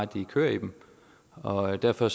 de kører i dem og derfor